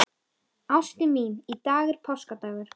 Ástin mín, í dag er páskadagur.